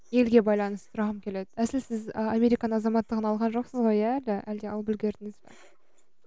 елге байланысты сұрағым келеді әсілі сіз і американың азаматтығын алған жоқсыз ғой иә әлі әлде алып үлгердіңіз бе